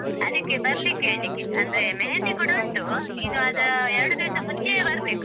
ಅದಿಕ್ಕೆ ಬರ್ಲಿಕ್ಕೆ ಹೇಳಿಕ್ಕೆ, ಅಂದ್ರೆ मेहंदी ಕೂಡ ಉಂಟು, ನೀನು ಅದು ಎರ್ಡು ದಿವ್ಸ ಮುಂಚೆಯೇ ಬರ್ಬೇಕು.